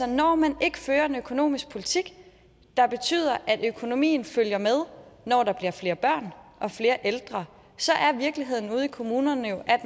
når man ikke fører en økonomisk politik der betyder at økonomien følger med når der bliver flere børn og flere ældre så er virkeligheden ude i kommunerne jo at